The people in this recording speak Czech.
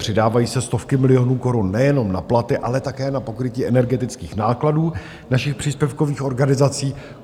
Přidávají se stovky milionů korun nejenom na platy, ale také na pokrytí energetických nákladů našich příspěvkových organizací.